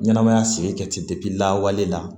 Ɲɛnɛmaya sigi kɛtibi lawale la